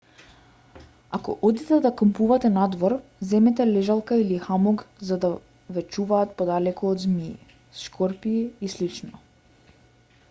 ако одите да кампувате надвор земете лежалка или хамок за да ве чуваат подалеку од змии скорпии и слично